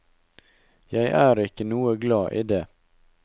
Jeg er ikke noe glad i det.